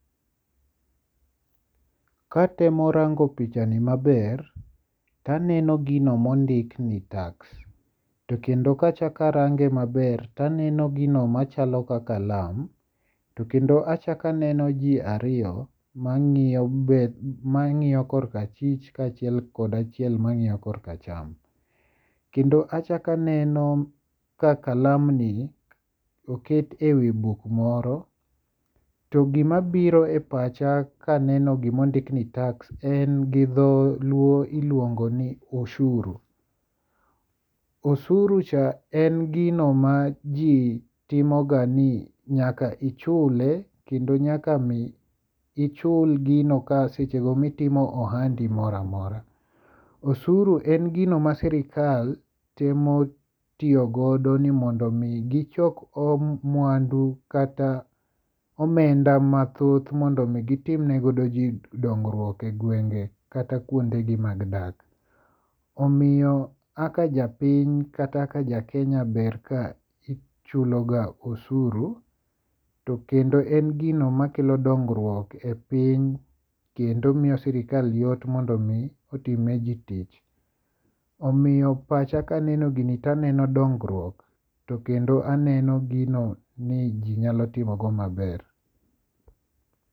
Katemo rango pichani maber taneno gino mondik ni tax. To kendo kachakarange maber to aneno gino machalo ka kalam. To kendo achak aneno ji ariyo mang'iyo kor kachich ka achiel kod achiel mang'iyo kor kacham. Kendo achak aneno ka kalam ni oket e wi buk moro. To gima biro e pacha kaneno gimondik ni tax en gi dholuo iluongo ni ushuru. Ushuru cha en gino ma jo timo ga ni nyaka ichule kendo nyaka mi ichul gino ka seche go mitimo ohandi moro amora. Ushuru en gino ma sirkal temo tiyogodo ni mondo mi gichok mwandu kata omenda mathoth mondo mi gitem ne godo ji dongruok e gwenge kata kuonde gi mag dak. Omiyo kaka japiny kata kaka ja Kenya ber ka ichulo ga ushuru. To kendo en gino makelo dongruok e piny. Kendo miyo sirkal yot mondo mi otim ne ji tich. Omiyo pacha kaneno gini to aneno dongruok to kendo aneno gino ni ji nyalo timo go maber.